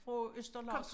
Fra Østerlars